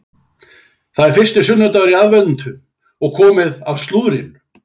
Það er fyrsti sunnudagur í aðventu og komið að slúðrinu.